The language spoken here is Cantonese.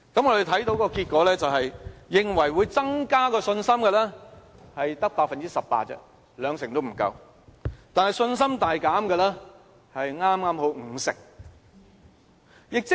我們看到結果是，認為會增加信心的，只有 18%， 兩成也不足夠，但信心大減的剛好是 50%。